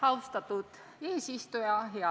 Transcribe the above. Austatud eesistuja!